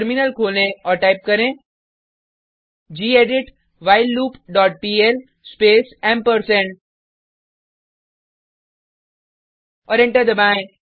terminal खोलें और type करें gedit while loop dot PL space ampersand और एंटर दबाएँ